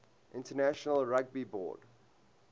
international rugby board